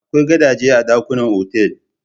Akwai gadaje a dakunan otal.